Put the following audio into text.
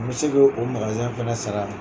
N bɛ se k'o fana sara.